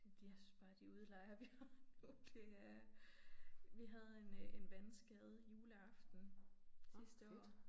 Det jeg synes bare de udlejere vi har nu de er. Vi havde en øh en vandskade juleaften sidste år